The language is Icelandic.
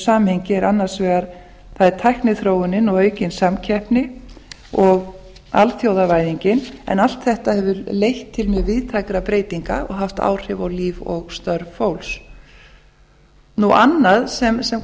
samhengi er tækniþróun og aukin samkeppni og alþjóðavæðingin en allt þetta hefur leitt til mjög víðtækra breytinga og haft áhrif á líf og störf fólks annað sem